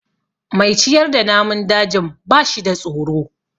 Mai ciyar da namun dajin ba shida tsoro.